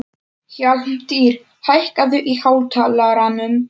Hjálmtýr, hækkaðu í hátalaranum.